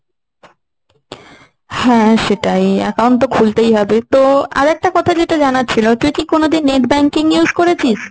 হ্যাঁ সেটাই, account তো খুলতেই হবে। তো আর একটা কথা যেটা জানার ছিল, তুই কি কোনদিন net banking use করেছিস?